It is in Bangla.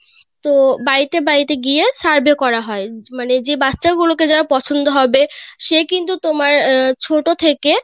তো বাড়িতে বাড়িতে গিয়ে survey করা হয় মানে যে বাচ্চা গুলো কে যার পছন্দ হবে সে কিন্তু তোমার আহ ছোট থেকে